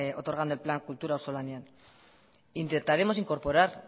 otorgando el plan kultura auzolanean intentaremos incorporar